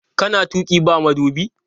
Kana tuƙi ba madubi?